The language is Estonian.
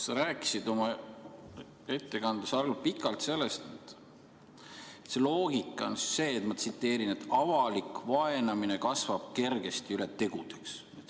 Sa rääkisid oma ettekandes pikalt sellest, et loogika on see, ma tsiteerin, et avalik vaenamine kasvab kergesti üle tegudeks.